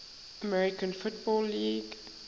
american football league